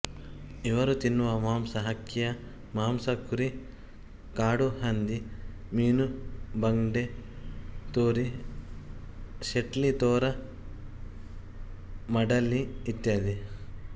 ಇವರು ತಿನ್ನುವ ಮಾಂಸ ಹಕ್ಕಿಯ ಮಾಂಸ ಕುರಿ ಕಾಡುಹಂದಿ ಮೀನುಬಂಗ್ಡೆ ತೋರಿ ಶೆಟ್ಳಿ ತೋರ ಮಡ್ಬಲಿ ಇತ್ಯಾದಿ